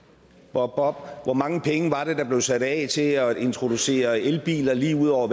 bobbob hvor mange penge var det der blev sat af til at introducere elbiler lige ud over